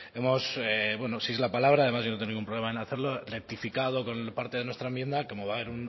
hemos bueno si es la palabra además yo no tengo ningún problema en hacerlo rectificado con parte de nuestra enmienda como va a haber